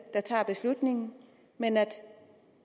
der tager beslutningen men at